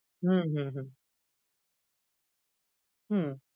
হুহুহু, হু।